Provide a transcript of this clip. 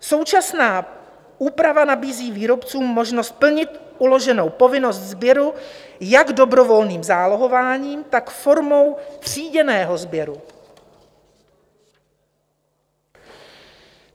Současná úprava nabízí výrobcům možnost plnit uloženou povinnost sběru jak dobrovolným zálohováním, tak formou tříděného sběru.